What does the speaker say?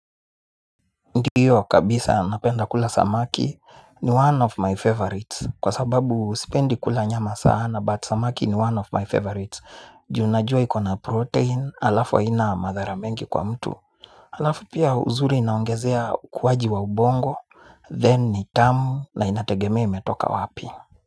Ndiyo kabisa napenda kula samakini one of my favorites kwa sababu sipendi kula nyama sana but samaki ni one of my favorites juu najua iko na protein alafu haina madhara mengi kwa mtu. Alafu pia uzuri inaongezea ukuwaji wa ubongo then ni tamu na inategemea imetoka wapi?